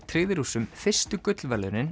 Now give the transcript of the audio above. tryggði Rússum fyrstu gullverðlaun